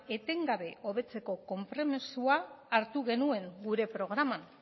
etengabe hobetzeko konpromisoa hartu genuen gure programan